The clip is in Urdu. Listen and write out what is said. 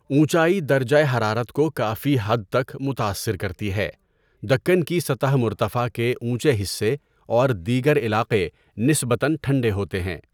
اونچائی درجہ حرارت کو کافی حد تک متاثر کرتی ہے، دکن کی سطح مرتفع کے اونچے حصے اور دیگر علاقے نسبتاً ٹھنڈے ہوتے ہیں۔